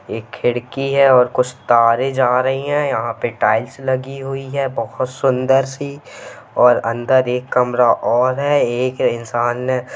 एक खिड़की है और कुछ तारे जा रही है यहां पे टाइल्स लगी हुई है बहोत सुंदर सी और अंदर एक कमरा और है एक इंसान --